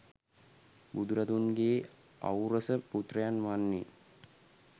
බුදුරදුන්ගේ ඖරස පුත්‍රයන් වන්නේ